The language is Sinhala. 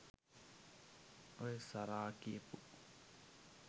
ඔය සරා කියපු